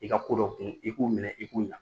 I ka ko dɔn kun i k'u minɛ i k'u ɲa